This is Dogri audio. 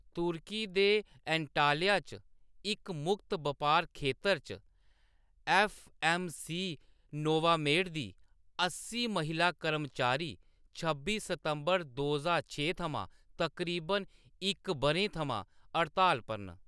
तुर्की दे एंटाल्या च इक मुक्त बपार खेतर च, ऐफ्फ.ऐम्म.सी. नोवामेड दी अस्सी महिला कर्मचारी छब्बी सितंबर, दो ज्हार छे थमां तकरीबन इक बʼरें थमां हड़ताल पर न।